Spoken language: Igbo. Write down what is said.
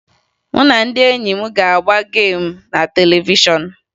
Mụ na ndị enyi m ga-agba geemu na televishọn